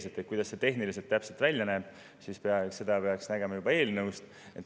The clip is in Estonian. Seda, kuidas see tehniliselt täpselt välja näeb, peaks nägema juba eelnõust.